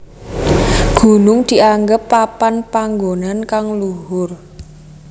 Gunung dianggep papan panggonan kang luhur